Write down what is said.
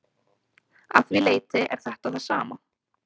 Að því leyti er þetta það sama.